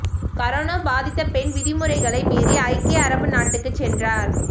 corona பாதித்த பெண் விதிமுறைகளை மீறி ஐக்கிய அரபு நாட்டுக்குச் சென்றார்